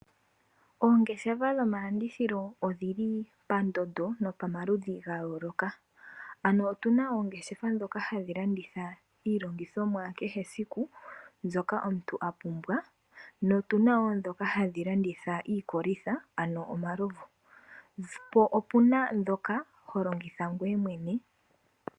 Oongeshefa dhomalandithilo odhili poondondo nopamaludhi ga yooloka, ano otuna oongeshefa dhoka hadhi landitha iilongithomwa ya kehe esiku mbyoka omuntu apumbwa na tuna dhoka hadhi landitha iikolitha ano omalovu, po opuna dhoka ho longitha ngoye mwene.